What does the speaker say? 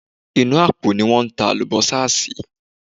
Inú àpò ni wọ́n ta àlùbọ́sà sí.